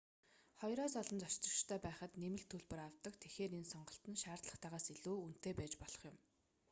2-оос олон зорчигчтой байхад нэмэлт төлбөр авдаг тэгэхээр энэ сонголт нь шаардлагатайгаас илүү үнэтэй байж болох юм